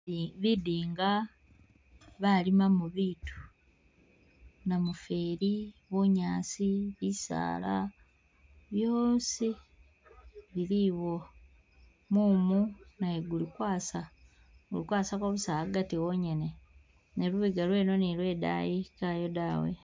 Ibi bidinga balimamo bitu, namufeeli, bunyaasi bisaala byosi bili iwo, mumu naye guli kwasa gukwasako agati wonyene ne lubega lweno ni lwe daayi kawo dawe.